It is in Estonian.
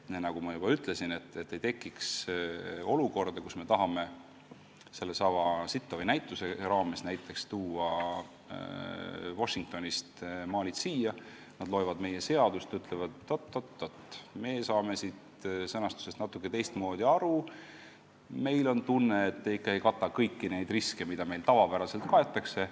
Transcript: Nagu ma juba ütlesin, eesmärk on, et ei tekiks olukorda, kus me tahame näiteks sellesama Sittowi näituse pärast Washingtonist maalid siia tuua, aga inimesed loevad meie seadust ja ütlevad, et oot-oot-oot, meie saame sõnastusest natuke teistmoodi aru: meil on tunne, et te ikka ei kata kõiki neid riske, mida meil tavapäraselt kaetakse.